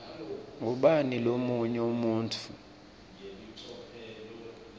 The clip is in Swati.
ngubani lomunye umuntfu